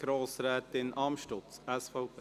Grossrätin Amstutz, SVP.